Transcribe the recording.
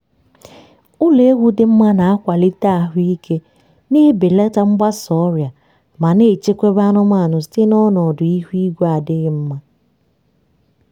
ụlọ ewu dị mma na-akwalite ahụ ike na-ebelata mgbasa ọrịa ma na-echebekwa anụmanụ site n'ọnọdụ ihu igwe adịghị mma.